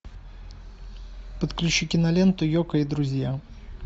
подключи киноленту йоко и друзья